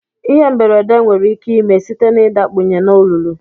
Ihe mberede nwere ike ime site na idakpunye na olulu.